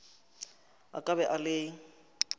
a ka be a le